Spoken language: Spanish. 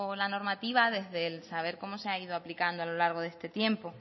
la normativa desde el saber cómo se ha ido aplicando a lo largo de este tiempo